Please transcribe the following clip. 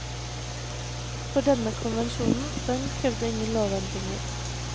For denne konvensjonen den krevde ingen lovendringer.